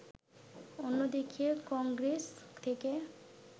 অন্যদিকে কংগ্রেস থেকে